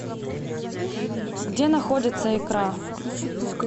где находится икра